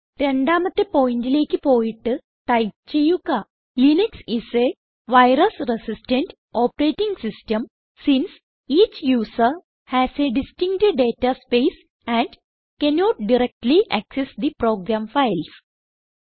രണ്ടാമത്തെ പോയിന്റിലേക്ക് പോയിട്ട് ടൈപ്പ് ചെയ്യുക Linux is a virus resistant operating system since each user has a distinct data space and cannot directly access the program files